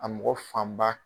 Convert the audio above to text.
A mɔgɔ fan ba.